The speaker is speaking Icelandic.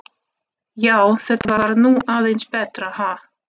Já, þetta var nú aðeins betra, ha!